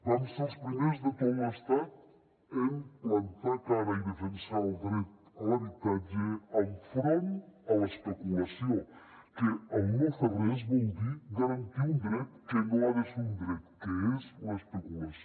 vam ser els primers de tot l’estat en plantar cara i defensar el dret a l’habitatge enfront de l’especulació que el no fer res vol dir garantir un dret que no ha de ser un dret que és l’especulació